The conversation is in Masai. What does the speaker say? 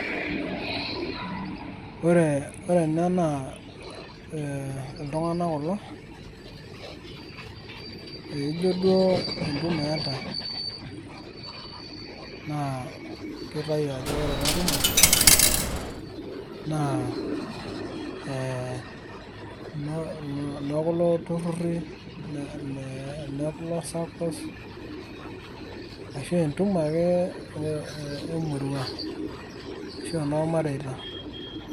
ore ena naa, iltunganak kulo, ijo duo entumo eetae, naakitayu ajo ore ena tumo naa enoo, kulo tururri enoo kulo saccos ,entumo ake emurua ashu enoormarita.